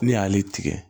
Ne y'ale tigɛ